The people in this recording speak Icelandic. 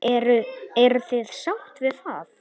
Eruð þið sátt við það?